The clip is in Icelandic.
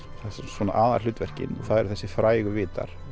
svona aðalhlutverkin það eru þessir frægu vitar